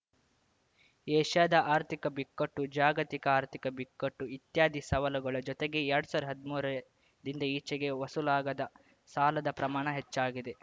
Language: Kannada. ಏಷ್ಯಾದ ಆರ್ಥಿಕ ಬಿಕ್ಕಟ್ಟು ಜಾಗತಿಕ ಆರ್ಥಿಕ ಬಿಕ್ಕಟ್ಟು ಇತ್ಯಾದಿ ಸವಲುಗಳ ಜೊತೆಗೆ ಎರಡ್ ಸಾವಿರದ್ ಹದ್ಮೂರ ರಿಂದ ಈಚೆಗೆ ವಸೂಲಾಗದ ಸಾಲದ ಪ್ರಮಾಣ ಹೆಚ್ಚಾಗಿದೆ